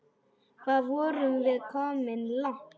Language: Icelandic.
Hvað vorum við komin langt?